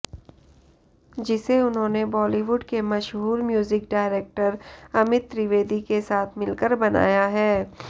जिसे उन्होंने बॉलीवुड के मशहूर म्यूजिक डायरेक्टर अमित त्रिवेदी के साथ मिलकर बनाया है